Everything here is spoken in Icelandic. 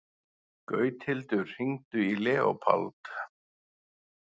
Gauthildur, hringdu í Leópold.